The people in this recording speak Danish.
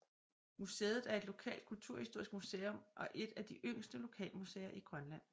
Museet er et lokalt kulturhistorisk museum og et af de yngste lokalmuseer i Grønland